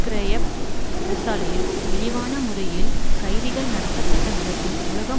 கிரையேப் சிறைசாலையில் இழிவான முறையில் கைதிகள் நடத்தப்பட்ட விதத்தில் உலகம்